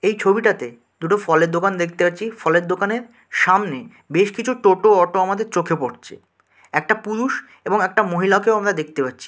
এই ছবিটাতে দুটো ফলের দোকান দেখতে পাচ্ছিই। ফলের দোকানে সামনে বেশ কিছু টোটা অটো আমাদের চোখে পড়ছে একটা পুরুষ এবং একটা মহিলাকেও আমরা দেখতে পাচ্ছি।